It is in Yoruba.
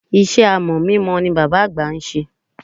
Iṣẹ́ amọ̀ mímọ ni bàbá àgbà ń ṣe.